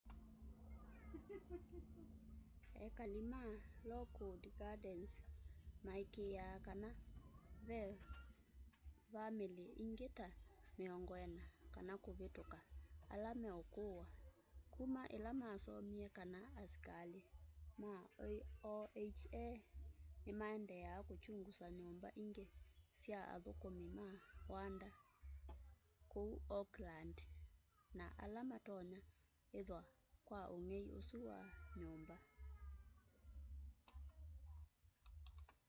ekali ma lockwood gardens maikîîaa kana ve vamîlî ingî ta 40 kana kûvîtûka ala meûkûwa kuma îla masomie kana asikalî ma oha nîmaendee kûkyungusa nyûmba ingî sya athûkûmi ma wanda kûu oakland na ala matonya ithwa kwa ûngei ûsu wa nyûmba